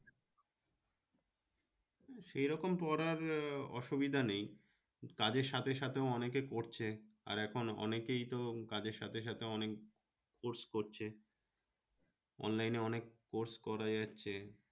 সেরকম পড়ার আহ অসুবিধা নেই, কাজের সাথে সাথে ও অনেকে পড়ছে আর এখন অনেকেই তো কাজের সাথে সাথে অনেক course করছে, online এ অনেক course করাই আসছে